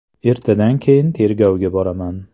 Ertadan keyin tergovga boraman.